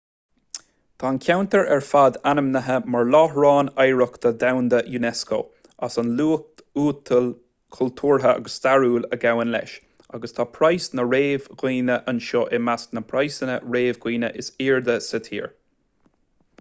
tá an ceantar ar fad ainmnithe mar láithreán oidhreachta dhomhanda unesco as an luach uathúil cultúrtha agus stairiúil a ghabhann leis agus tá praghas na réadmhaoine anseo i measc na bpraghsanna réadmhaoine is airde sa tír